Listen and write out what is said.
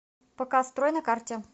пк строй на карте